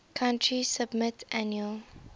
country submit annual